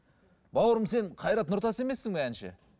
бауырым сен қайрат нұртас емессің бе әнші